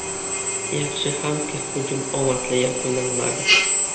Yaxshi hamki, hujum omadli yakunlanmadi.